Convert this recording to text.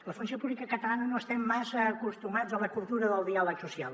la funció pública catalana no estem massa acostumats a la cultura del diàleg social